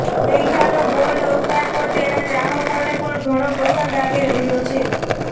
મેઘાનો bold અવતાર પર તેનાં ચાહકોને પણ ઘણો પસંદ આવી રહ્યો છે